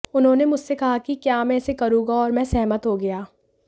उन्होंने मुझसे कहा कि क्या मैं इसे करूंगा और मैं सहमत हो गया